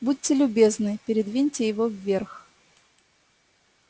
будьте любезны передвиньте его вверх